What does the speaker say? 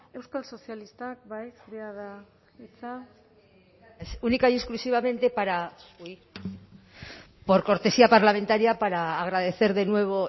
euskal sozialistak bai zurea da hitza ez única y exclusivamente por cortesía parlamentaria para agradecer de nuevo